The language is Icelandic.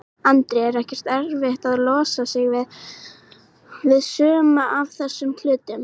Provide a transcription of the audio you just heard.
Andri: Er ekkert erfitt að losa sig við, við suma af þessum hlutum?